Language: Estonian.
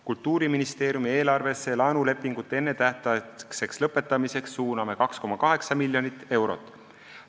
Kultuuriministeeriumi eelarvesse laenulepingute ennetähtaegseks lõpetamiseks suuname 2,8 miljonit eurot.